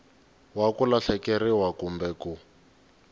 wa ku lahlekeriwa kumbe ku